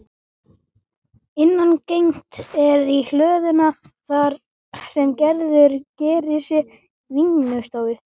Innangengt er í hlöðuna þar sem Gerður gerir sér vinnustofu.